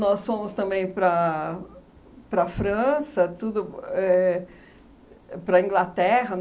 fomos também para para França tudo éh, para Inglaterra.